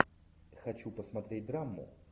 хочу посмотреть драму